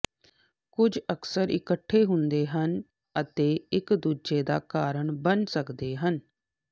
ਕੁਝ ਅਕਸਰ ਇਕੱਠੇ ਹੁੰਦੇ ਹਨ ਅਤੇ ਇਕ ਦੂਜੇ ਦਾ ਕਾਰਨ ਬਣ ਸਕਦੇ ਹਨ